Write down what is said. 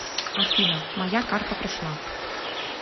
афина моя карта пришла